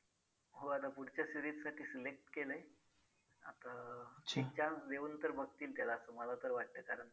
हो आता पुढच्या series साठी select केलंय. आता एक chance देऊन तर बघतील त्याला असं मला तर वाटतंय कारण